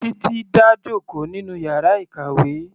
Titi dá jòkó nínú yàrá ìkàwé.